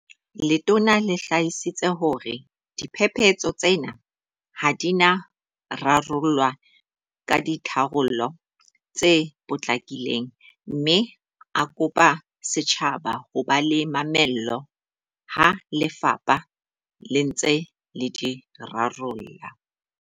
Letona le hlalositse hore diphephetso tsena ha di na rarollwa ka ditharollo tse potlakileng mme a kopa setjhaba ho ba le mamello ha lefapha le ntse le di rarolla.